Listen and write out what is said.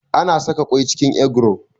Ana saƙa kwai cikin egro